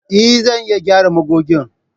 Eh! Zan iya gyara magogin.